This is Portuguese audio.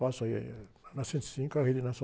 Faço aí na cento e cinco a Rede